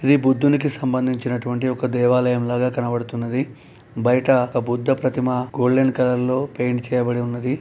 ఇది బుద్దునికి సంబంధించిన అటువంటి దేవాలయం లాగా కనబడుతున్నది బయట ఒక బుద్ధ ప్రతిమ గోల్డెన్ కలర్ లో పెయింట్ చేయబడి ఉన్నది.